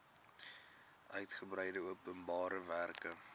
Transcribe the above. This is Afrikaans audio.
uitgebreide openbare werke